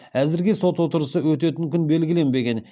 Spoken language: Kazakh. әзірге сот отырысы өтетін күн белгіленбеген